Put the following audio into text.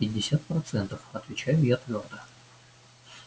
пятьдесят процентов отвечаю я твёрдо